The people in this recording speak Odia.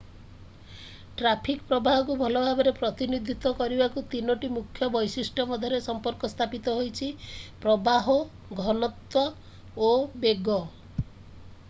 ଟ୍ରାଫିକ୍ ପ୍ରବାହକୁ ଭଲ ଭାବରେ ପ୍ରତିନିଧିତ୍ୱ କରିବାକୁ 3ଟି ମୁଖ୍ୟ ବୈଶିଷ୍ଟ୍ୟ ମଧ୍ୟରେ ସମ୍ପର୍କ ସ୍ଥାପିତ ହୋଇଛି: 1 ପ୍ରବାହ 2 ଘନତ୍ଵ ଏବଂ 3 ବେଗ।